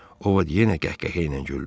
O vaxt yenə qəhqəhə ilə güldü.